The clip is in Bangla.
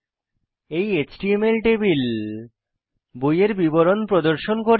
এই এচটিএমএল টেবিল বইয়ের বিবরণ প্রদর্শন করবে